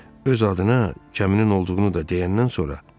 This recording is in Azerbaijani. Öz adına kəminin olduğunu da deyəndən sonra Den dedi: